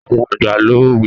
Àwọn àgbà lo òwe